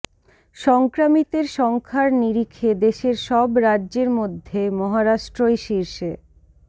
সংক্রামিতের সংখ্যার নিরিখে দেশের সব রাজ্যের মধ্যে মহারাষ্ট্রই শীর্ষে